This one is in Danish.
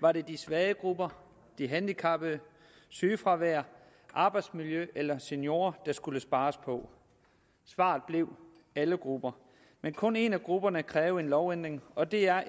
var det de svage grupper de handicappede sygefravær arbejdsmiljø eller seniorer der skulle spares på svaret blev alle grupper men kun en af grupperne krævede en lovændring og det er